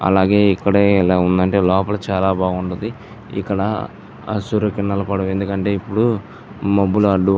అలాగే ఇక్కడే ఇలా ఉందంటే లోపాలా చాలా బాగుంటది. ఇక్కడ ఆ సూర్య కిరణాలూ పడవు. ఎందుకంటే ఇప్పుడు మబ్బులలో--